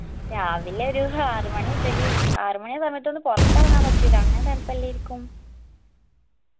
രാവിലെ ഒരു ഹാറ് മണിമുതൽ ആറ് മണിപറഞ്ഞിട്ടൊന്നും പോർത്ത് എറങ്ങാൻ പറ്റൂല അങ്ങനെ തണുപ്പുല്ലായിരിക്കും